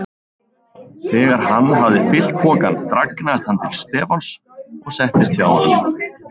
Þegar hann hafði fyllt pokann dragnaðist hann til Stefáns og settist hjá honum.